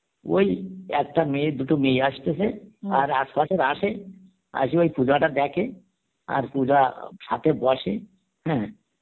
ওই একটা মেয়ে দুটো মেয়ে আসতেছে এস পাসের আসে, আসে ওই পূজাটা দেখে আর পূজা সথে বসে হ্যাঁ